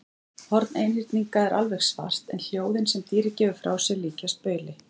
Horn einhyrninga er alveg svart en hljóðin sem dýrið gefur frá sér líkjast bauli.